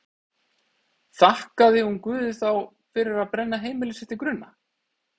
Þakkaði hún Guði þá fyrir að brenna heimili sitt til grunna?